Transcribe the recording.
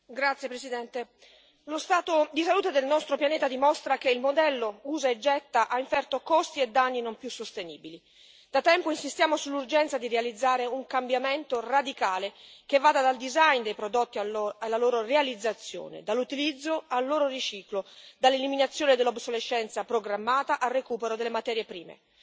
Signor Presidente, onorevoli colleghi, lo stato di salute del nostro pianeta dimostra che il modello usa e getta ha inferto costi e danni non più sostenibili. Da tempo insistiamo sull'urgenza di realizzare un cambiamento radicale che vada dal design dei prodotti alla loro realizzazione, dall'utilizzo al loro riciclo, dall'eliminazione dell'obsolescenza programmata al recupero delle materie prime.